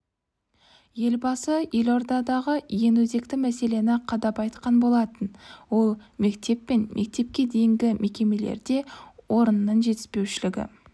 елбасы елордадағы ең өзекті мәселені қадап айтқан болатын ол мектеп пен мектепке дейінгі мекемелерде орынның жетіспеушілігі